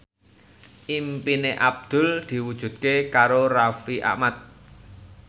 impine Abdul diwujudke karo Raffi Ahmad